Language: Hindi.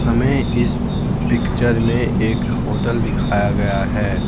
हमें इस पिक्चर में एक होटल दिखाया गया है।